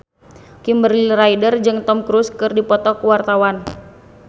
Kimberly Ryder jeung Tom Cruise keur dipoto ku wartawan